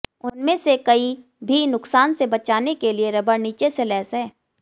उनमें से कई भी नुकसान से बचाने के लिए रबर नीचे से लैस हैं